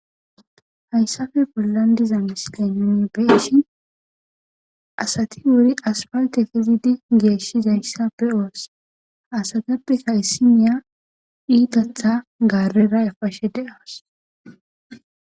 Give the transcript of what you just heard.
Hayisape bollan diza misilan be'ishin asati asipalite geshizayisa be'os ha asatapeka issinya itatha garera epashe de'awus